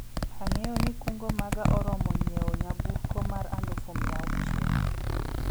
ang'eyo ni kungo maga oromo nyiewo nyamburko mar alufu mia auchiel